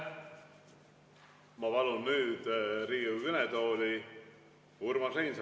Ma palun nüüd Riigikogu kõnetooli Urmas Reinsalu.